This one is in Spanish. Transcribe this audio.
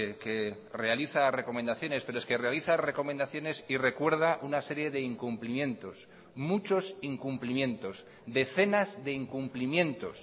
que realiza recomendaciones pero es que realiza recomendaciones y recuerda una serie de incumplimientos muchos incumplimientos decenas de incumplimientos